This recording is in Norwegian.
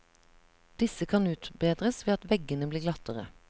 Disse kan utbedres ved at veggene blir glattere.